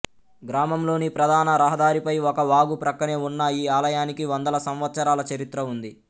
గ్రామంలోని ప్రధాన రహదారిపై ఒక వాగు ప్రక్కనే ఉన్న ఈ ఆలయానికి వందల సంవత్సరాల చరిత్ర ఉంది